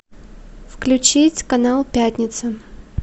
включить канал пятница